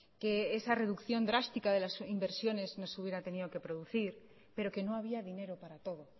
que esa reducción drástica de las inversiones no se hubiera tenido que producir pero que no había dinero para todo